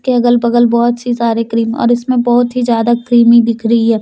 के अगल बगल बहोत सी सारे क्रीम और उसमें बहोत ही ज्यादा क्रीमी दिख रही है।